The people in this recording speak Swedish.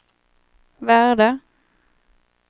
värde